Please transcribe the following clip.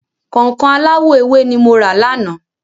Kọ̀nkọ̀n aláwọ̀ ewé ni mo rà lánàá.